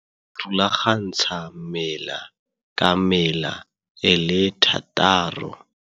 Serulagantsha- mela ka mela e le 6.